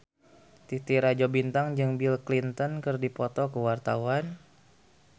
Titi Rajo Bintang jeung Bill Clinton keur dipoto ku wartawan